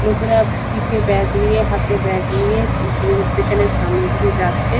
লোকেরা পিঠে ব্যাগ নিয়ে হাতে ব্যাগ নিয়ে রেল স্টেশান এর সামনে দিয়ে যাচ্ছে।